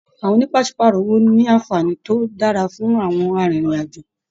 Àwọn ònípasepàárọ̀ owó ní anfààní to dára fún àwọn arinrin-ajo.